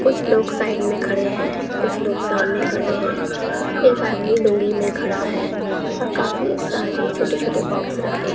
कुछ लोग साइड में खड़े हैं कुछ लोग सामने खड़े हैं एक आदमी लूंगी में खड़ा है और काफी सारे छोटे छोटे बॉक्स रखे--